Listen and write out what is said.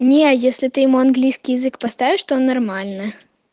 не если ты ему английский язык поставишь то нормально